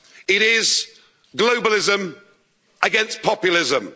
It is globalism against populism.